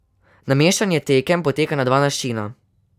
Nameščanje tekem poteka na dva načina.